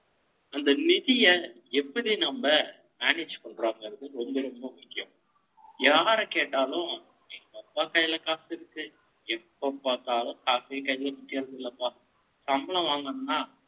அந்த நிதியை, எப்படி நம்ம, manage பண்றோம்ங்கிறது, ரொம்ப, ரொம்ப முக்கியம். யாரைக் கேட்டாலும், எங்கப்பா கையில, காசு இருக்கு. எப்ப பார்த்தாலும், காசே கைல நிக்கறதில்லப. சம்பளம் வாங்கணும்ன்னா,